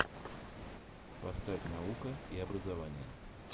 поставь наука и образование